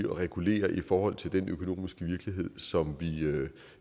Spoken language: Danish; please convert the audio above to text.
regulere i forhold til den økonomiske virkelighed som vi